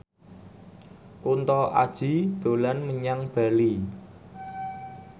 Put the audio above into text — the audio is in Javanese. Kunto Aji dolan menyang Bali